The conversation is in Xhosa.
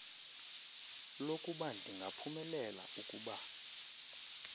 lokuba ndingaphumelela ukuba